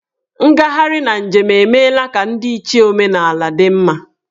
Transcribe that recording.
Ngagharị na njem emeela ka ndịiche omenala dị mma.